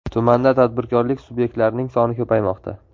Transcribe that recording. Tumanda tadbirkorlik subyektlarining soni ko‘paymoqda.